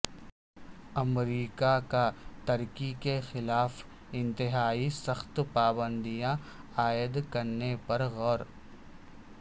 امریکہ کا ترکی کے خلاف انتہائی سخت پابندیاں عائد کرنے پر غور